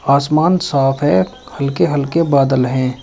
आसमान साफ है हल्के हल्के बादल हैं।